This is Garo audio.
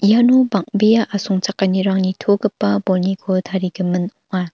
iano bang·bea asongchakanirang nitogipa bolniko tarigimin ong·a